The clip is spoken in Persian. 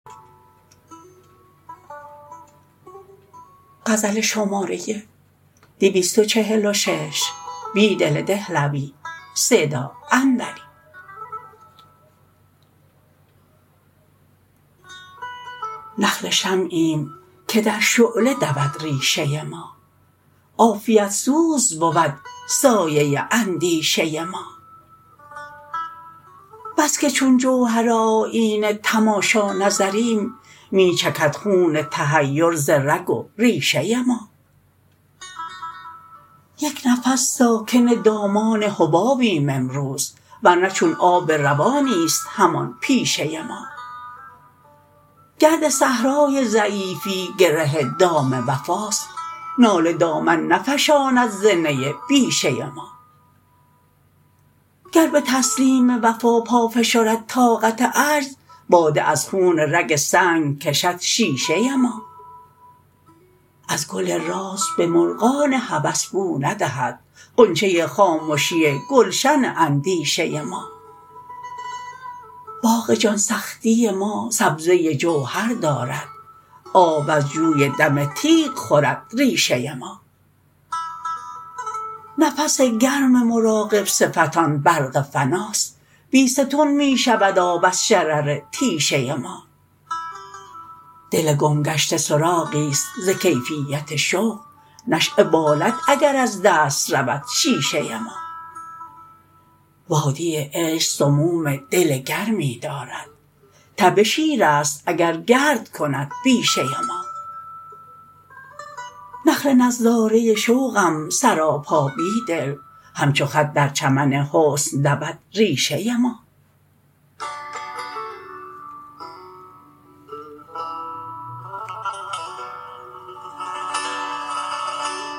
نخل شمعیم که در شعله دود ریشه ما عافیت سوز بود سایه اندیشه ما بسکه چون جوهرآیینه تماشا نظریم می چکد خون تحیر ز رگ و ریشه ما یک نفس ساکن دامان حبابیم امروز ورنه چون آب روانی ست همان پیشه ما گرد صحرای ضعیفی گره دام وفاست ناله دامن نفشاند ز نی بیشه ما گر به تسلیم وفا پا فشرد طاقت عجز باده از خون رگ سنگ کشد شیشه ما ازگل راز به مرغان هوس بو ندهد غنچه خامشی گلشن اندیشه ما باغ جان سختی ما سبزه جوهر دارد آب از جوی دم تیغ خورد ریشه ما نفس گرم مراقب صفتان برق فناست بیستون می شود آب از شرر تیشه ما دل گمگشته سراغی ست زکیفیت شوق نشیه بالد اگر از دست رود شیشه ما وادی عشق سموم دل گرمی دارد تب شیر است اگرگردکند بیشه ما نخل نظاره شوقم سراپا بیدل همچوخط در چمن حسن دودریشه ما